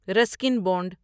Ruskin bound